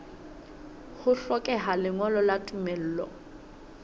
ho hlokeha lengolo la tumello